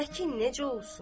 Əkin necə olsun?